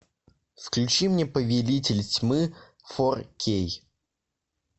включи мне повелитель тьмы фор кей